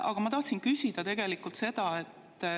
Aga ma tahtsin küsida seda.